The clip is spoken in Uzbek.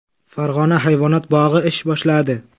Farg‘ona hayvonot bog‘i ish boshladi.